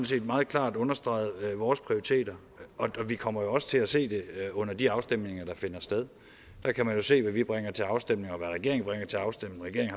set meget klart understreget vores prioriteter og vi kommer jo også til at se det under de afstemninger der finder sted der kan man jo se hvad vi bringer til afstemning og hvad regeringen bringer til afstemning